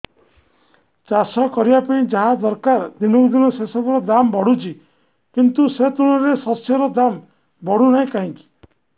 ଚାଷ କରିବା ପାଇଁ ଯାହା ଦରକାର ଦିନକୁ ଦିନ ସେସବୁ ର ଦାମ୍ ବଢୁଛି କିନ୍ତୁ ସେ ତୁଳନାରେ ଶସ୍ୟର ଦାମ୍ ବଢୁନାହିଁ କାହିଁକି